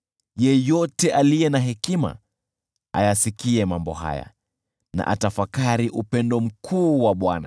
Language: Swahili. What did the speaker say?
Yeyote aliye na hekima, ayasikie mambo haya, na atafakari upendo mkuu wa Bwana .